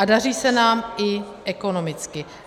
A daří se nám i ekonomicky.